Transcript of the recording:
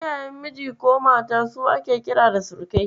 Iyayen miji ko mata su ake kira da surukai.